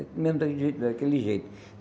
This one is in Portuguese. É mesmo jeito daquele jeito.